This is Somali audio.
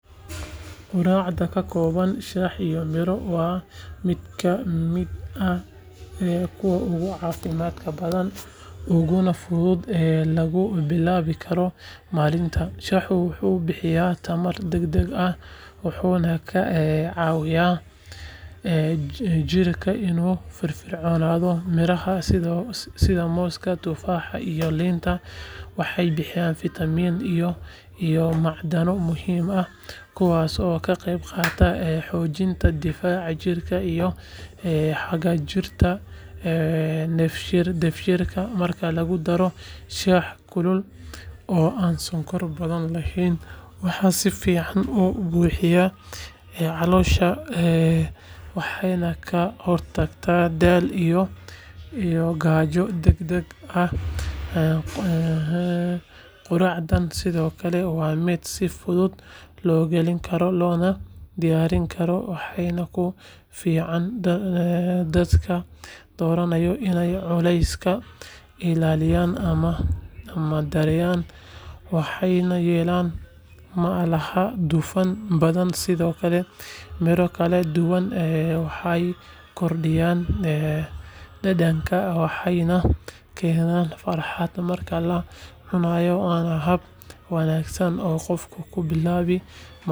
Quraacda ka kooban shaah iyo miro waa mid ka mid ah kuwa ugu caafimaadka badan uguna fudud ee lagu bilaabi karo maalinta shaahu wuxuu bixiyaa tamar degdeg ah wuxuuna ka caawiyaa jidhka inuu firfircoonaado mirahana sida mooska tufaaxa iyo liinta waxay bixiyaan fiitamiino iyo macdano muhiim ah kuwaasoo ka qayb qaata xoojinta difaaca jidhka iyo hagaajinta dheefshiidka marka lagu daro shaah kulul oo aan sonkor badan lahayn waxay si fiican u buuxiyaan caloosha waxayna ka hortagaan daal iyo gaajo degdeg ah quraacdan sidoo kale waa mid si fudud loo heli karo loona diyaarin karo waxaana ku fiican dadka doonaya inay culeyskooda ilaashadaan ama yareeyaan maxaa yeelay ma laha dufan badan sidoo kale miro kala duwan waxay kordhiyaan dhadhanka waxayna keenaan farxad marka la cunayo waana hab wanaagsan oo qofku ku bilaabo maalintiisa.